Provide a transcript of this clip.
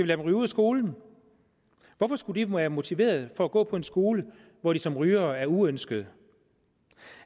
dem ryge ud af skolen hvorfor skulle de være motiveret for at gå på en skole hvor de som rygere er uønskede